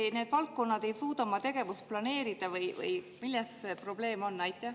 Kas need valdkonnad ei suuda oma tegevust planeerida või milles probleem on?